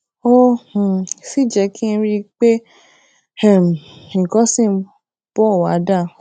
ó um sì jé kí n rí i pé um nǹkan ṣì ń bò wá dáa